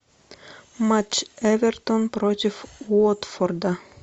матч эвертон против уотфорда